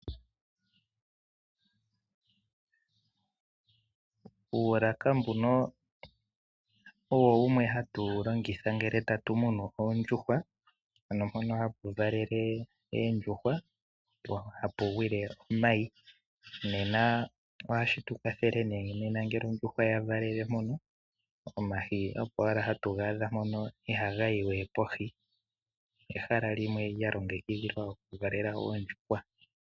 Uulaka mbuno owo wumwe hatuwu longitha ngele tatu munu oondjuhwa ano mpono hapu valele oondjuhwa hapu gwile omayi, nena ohashi tukwathele nee ngele ondjuhwa yavalele po omayi opo owala hatu gaadha moka ihaga yiwe kohi, ehala limwe lyalongekidhilwa okuvalela oondjuhwa.